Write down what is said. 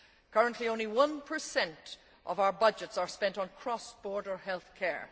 Currently, only one percent of our budgets are spent on cross border health care.